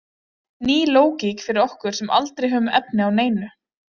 Ný lógík fyrir okkur sem aldrei höfum efni á neinu.